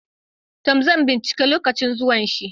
To, zan ɓincika lokacin zuwan shi.